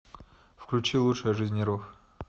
включи лучшая жизнь нервов